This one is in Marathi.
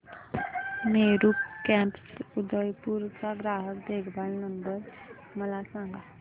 मेरू कॅब्स उदयपुर चा ग्राहक देखभाल नंबर मला सांगा